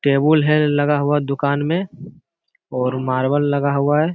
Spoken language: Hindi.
टेबुल है लगा हुआ दुकान में और मार्बल लगा हुआ है ।